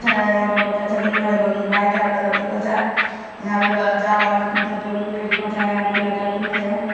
अच्छा है यहाँ पे बहुत अच्छा बाइक टायर लगोते यहाँ पे --